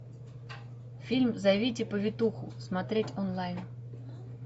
фильм зовите повитуху смотреть онлайн